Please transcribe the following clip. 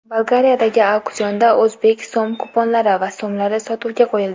Bolgariyadagi auksionda o‘zbek so‘m-kuponlari va so‘mlari sotuvga qo‘yildi.